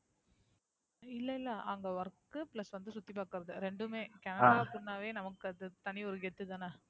இல்ல இல்ல அங்க WorkPlus வந்து சுத்தி பாக்குறது ரெண்டுமே. ஆஹ் Canada அப்படினாவே நமக்கு அது தனி ஒரு கெத்து தான?